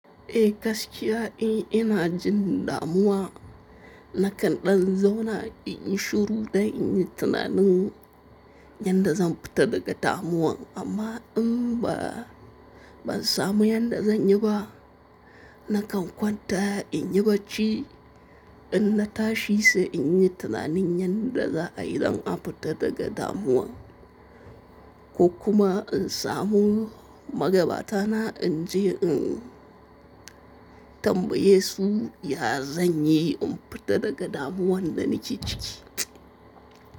Eh gaskiya, eh ina jin damuwa. Nakan ɗan zauna in yi shuru dan in yi tunanin yadda zan fita daga damuwan amma in ba, ban samu yadda zan yi ba. Nakan kwanta in yi bacci in na tashi sai in yi tunanin yadda za a yi don a fita daga damuwan, ko kuma in samu magabata na in je in tambaye su ya zan yi in fita daga damuwan da nake ciki.